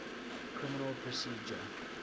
criminal procedure